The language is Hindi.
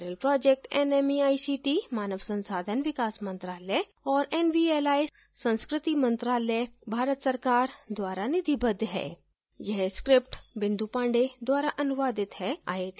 spoken tutorial project nmeict मानव संसाधन विकास मंत्रायल और nvli संस्कृति मंत्रालय भारत सरकार द्वारा निधिबद्ध है